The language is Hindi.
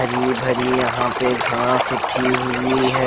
हरी भरी यह पे घास उगी हुई है।